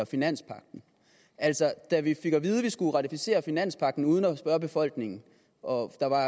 finanspagten altså da vi fik at vide at vi skulle ratificere finanspagten uden at spørge befolkningen og der var